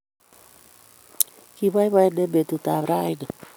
Kiboyboen eng betutab raini